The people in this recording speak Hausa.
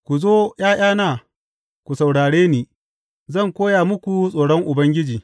Ku zo, ’ya’yana, ku saurare ni; zan koya muku tsoron Ubangiji.